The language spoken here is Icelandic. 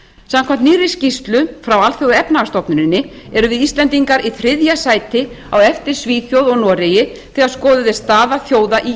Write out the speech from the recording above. samkvæmt nýrri skýrslu frá alþjóðaefnahagsstofnuninni erum við íslendingar í þriðja sæti á eftir svíþjóð og noregi þegar skoðuð er staða þjóða í